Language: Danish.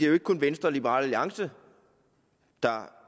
jo ikke kun venstre og liberal alliance der